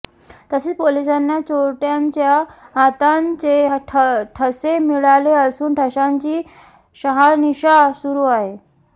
तसेच पोलिसांना चोरट्यांच्या हातांचे ठसे मिळाले असून ठशांची शहानिशा सुरू आहे